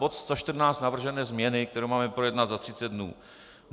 Bod 114 - navržené změny, které máme projednat za 30 dnů.